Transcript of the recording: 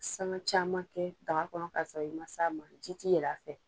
San caman kɛ daga kɔnɔ k'a sɔrɔ i m'a ji ti yɛlɛ a fɛ.